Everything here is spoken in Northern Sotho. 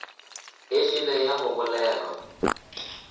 e šele ya go bolelwa